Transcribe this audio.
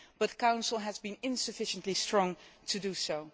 the Council has been insufficiently strong to do so.